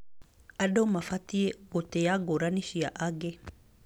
Andũ mabatiĩ gũtĩa ngũrani cia angĩ.